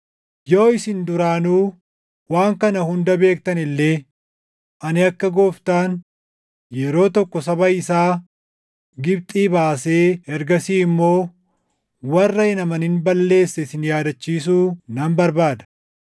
Yoo isin duraanuu waan kana hunda beektan illee, ani akka Gooftaan yeroo tokko saba isaa Gibxii baasee ergasii immoo warra hin amanin balleesse isin yaadachiisuu nan barbaada.